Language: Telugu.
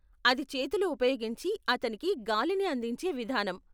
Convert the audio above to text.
అది చేతులు ఉపయోగించి అతనికి గాలిని అందించే విధానం.